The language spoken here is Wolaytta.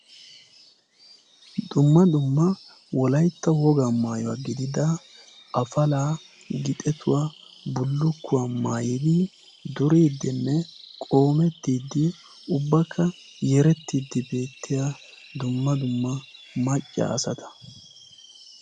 dumma dumma wolaitta woga maayuwaa gidida afalaa, gixetuwaa, bullukkuwaa maayidi duriiddinne qoomettiiddi ubbakka yerettiiddi beettiya dumma dumma macca asata.